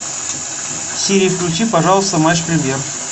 сири включи пожалуйста матч премьер